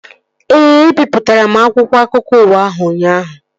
Ee, ebipụtara m akwụkwọ akụkọ ụwa ahụ ụnyaahụ